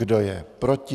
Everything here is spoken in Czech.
Kdo je proti?